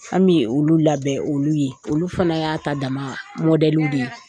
An bɛ olu labɛn olu ye, olu fana y'a ta dama mɔdlɛliw de ye.